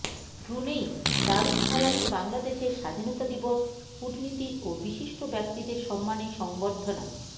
Brunei দারুসসালামে বাংলাদেশের স্বাধীনতা দিবস কূটনীতিক ও বিশিষ্ট ব্যক্তিদের সম্মানে সংবর্ধনা